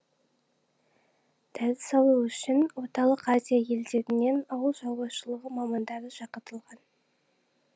дәріс алу үшін орталық азия елдерінен ауыл шаруашылығы мамандары шақыртылған